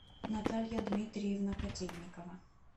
наталья дмитриевна котельникова